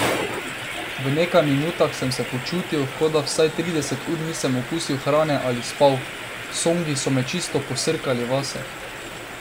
V nekaj minutah sem se počutil, kot da vsaj trideset ur nisem okusil hrane ali spal, songi so me čisto posrkali vase.